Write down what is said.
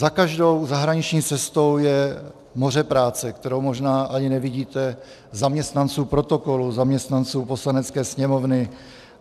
Za každou zahraniční cestou je moře práce, kterou možná ani nevidíte, zaměstnanců protokolu, zaměstnanců Poslanecké sněmovny.